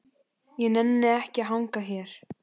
Ég nenni ekki að hanga hér.